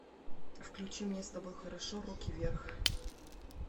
включи мне с тобой хорошо руки вверх